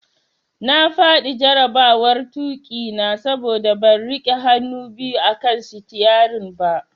Na fadi jarabawar tuki na saboda ban rike hannu biyu akan sitiyarin ba.